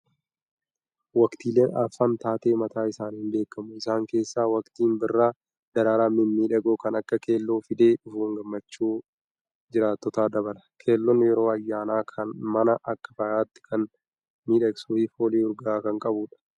Waqtiileen arfan taatee mataa isaaniin beekamu. Isaan keessaa waqtiin birraa daraaraa mimmiidhagoo kan akka keelloo fidee dhufuun gammachuu jiraattotaa dabala! Keelloon yeroo ayyaanaa mana akka faayaatti kan miidhagsuu fi foolii urgaa'aa kan qabudha.